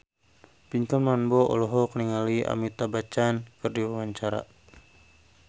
Pinkan Mambo olohok ningali Amitabh Bachchan keur diwawancara